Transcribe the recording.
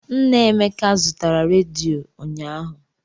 Nna Emeka zụtara rediyo ụnyaahụ.